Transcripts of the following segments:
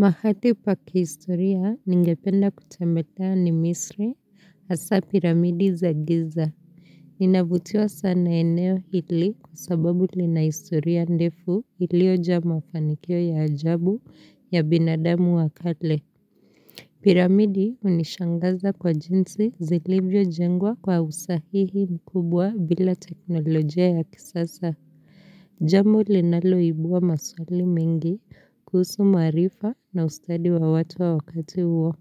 Mahali pa kihistoria ningependa kutembelea ni misri hasa piramidi za giza. Ninavutiwa sana na eneo hili kusababu lina historia ndefu lilioja mafanikio ya ajabu ya binadamu wakale. Piramidi hunishangaza kwa jinsi zilivyo jengwa kwa usahihi mkubwa bila teknolojia ya kisasa. Jambo linaloibua maswali mingi, kuhusu marifa na ustadi wa watu wa wakati huwo.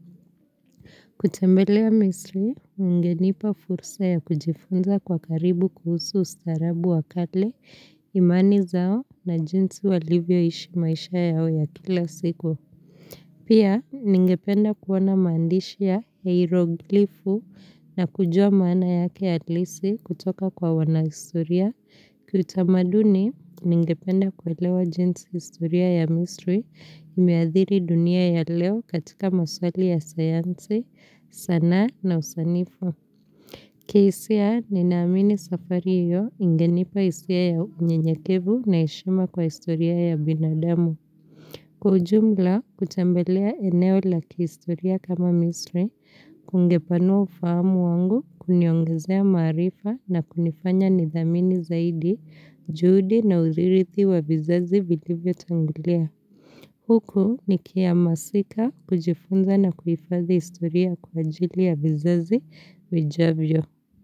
Kutembelea misri, ungenipa fursa ya kujifunza kwa karibu kuhusu ustarabu wakale, imani zao na jinsi walivyo ishi maisha yao ya kila siku. Pia, ningependa kuona maandishia ya iroglifu na kujua maana yake halisi kutoka kwa wanahistoria. Kutamaduni, ningependa kuelewa jinsi historia ya misri, imeathiri dunia ya leo katika maswali ya sayansi, sana na usanifu. Kihisia ni naamini safari hiyo ingenipa hisia ya unyenyekevu na heshima kwa historia ya binadamu. Kwaujumla kutembelea eneo la kihistoria kama misri, kungepanua ufahamu wangu, kuniongezea marifa na kunifanya nithamini zaidi, juhudi na uzirithi wa vizazi vilivyo tangulia. Huku nikihamasika kujifunza na kuhifathi historia kwa ajili ya vizazi vijavyo.